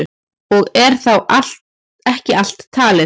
Og er þá ekki allt talið.